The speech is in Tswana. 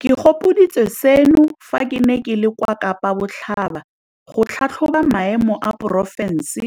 Ke gopoditswe seno fa ke ne ke le kwa Kapa Botlhaba go tlhatlhoba maemo a porofense